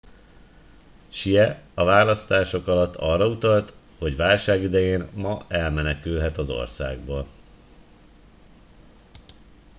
hsieh a választások alatt arra utalt hogy válság idején ma elmenekülhet az országból